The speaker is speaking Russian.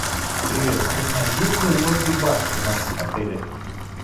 привет узнай есть ли лобби бар в нашем отеле